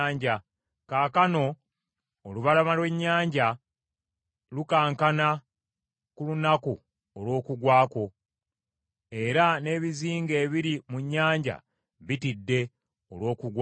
Kaakano olubalama lw’ennyanja lukankana ku lunaku olw’okugwa kwo, era n’ebizinga ebiri mu nnyanja bitidde olw’okugwa kwo.’